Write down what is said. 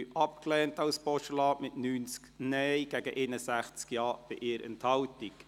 Sie haben den Punkt 3 als Postulat abgelehnt, mit 90 Nein- gegen 61 Ja-Stimmen bei 1 Enthaltung.